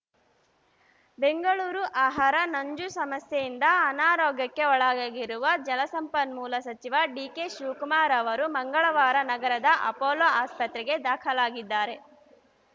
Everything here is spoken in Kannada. ಬೆಂಗಳೂರು ಆಹಾರ ನಂಜು ಸಮಸ್ಯೆಯಿಂದ ಅನಾರೋಗ್ಯಕ್ಕೆ ಒಳಗಾಗಿರುವ ಜಲಸಂಪನ್ಮೂಲ ಸಚಿವ ಡಿಕೆಶಿವಕುಮಾರ್‌ ಅವರು ಮಂಗಳವಾರ ನಗರದ ಅಪೋಲೊ ಆಸ್ಪತ್ರೆಗೆ ದಾಖಲಾಗಿದ್ದಾರೆ